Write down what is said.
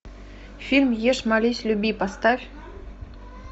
фильм ешь молись люби поставь